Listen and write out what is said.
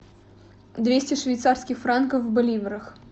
двести швейцарских франков в боливрах